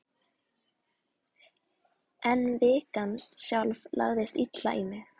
En vikan sjálf lagðist illa í mig.